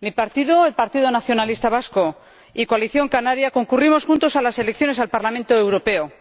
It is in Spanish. Mi partido, el Partido Nacionalista Vasco, y Coalición Canaria concurrimos juntos a las elecciones al Parlamento Europeo